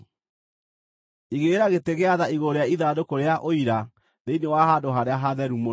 Igĩrĩra gĩtĩ gĩa tha igũrũ rĩa ithandũkũ rĩa Ũira thĩinĩ wa Handũ-harĩa-Hatheru-Mũno.